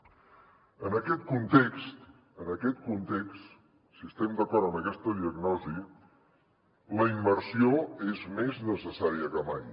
en aquest context en aquest context si estem d’acord amb aquesta diagnosi la immersió és més necessària que mai